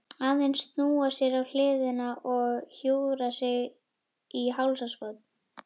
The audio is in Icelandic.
Aðeins snúa sér á hliðina og hjúfra sig í hálsakot.